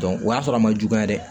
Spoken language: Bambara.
o y'a sɔrɔ a ma juguya dɛ